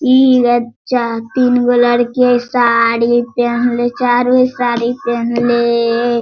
इ एजा तीन गो लड़की हई साड़ी पेहनले चारो साड़ी पेहनले।